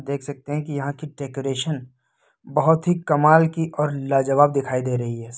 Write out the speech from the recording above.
देख सकते है कि यहां की डेकोरेशन बहोत ही कमाल की और लाजबाव दिखाई दे रही है।